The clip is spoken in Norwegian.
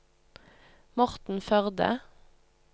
Morten Førde